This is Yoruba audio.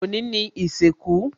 Òní ni ìsìnkú